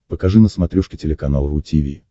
покажи на смотрешке телеканал ру ти ви